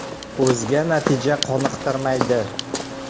O‘zga natija qoniqtirmaydi.